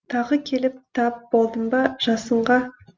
тағы келіп тап болдың ба жасынға